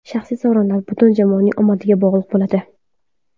Shaxsiy sovrinlar butun jamoaning omadiga bog‘liq bo‘ladi.